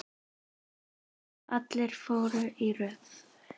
Allir fóru í röð.